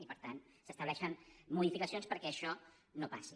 i per tant s’estableixen modificacions perquè això no passi